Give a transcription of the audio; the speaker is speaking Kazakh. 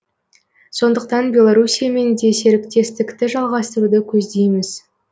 сондықтан беларусиямен де серіктестікті жалғастыруды көздейміз